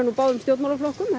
úr báðum stjórnmálaflokkum